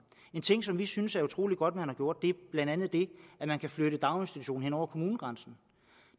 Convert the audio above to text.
en ting som vi synes er utrolig godt man har gjort er blandt andet det at man kan flytte daginstitutionen hen over kommunegrænsen